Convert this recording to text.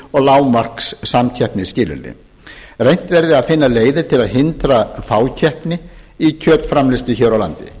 og lágmarkssamkeppnisskilyrði reynt verði að finna leiðir til að hindra fákeppni í kjötframleiðslu hér á landi